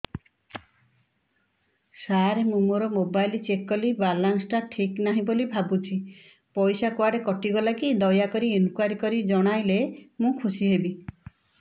ସାର ମୁଁ ମୋର mobile check କଲି ବାଲାନ୍ସ ଟା ଠିକ ନାହିଁ ବୋଲି ଭାବୁଛି ପଇସା କୁଆଡେ କଟି ଗଲା କି ଦୟାକରି ଇନକ୍ୱାରି କରି ଜଣାଇଲେ ମୁଁ ଖୁସି ହେବି